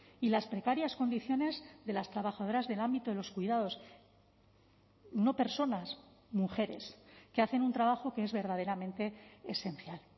y las precarias condiciones de las trabajadoras del ámbito de los cuidados no personas mujeres que hacen un trabajo que es verdaderamente esencial